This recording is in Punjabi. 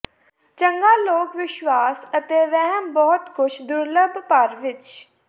ਚੰਗਾ ਲੋਕ ਵਿਸ਼ਵਾਸ ਅਤੇ ਵਹਿਮ ਬਹੁਤ ਕੁਝ ਦੁਰਲੱਭ ਭਰ ਵਿੱਚ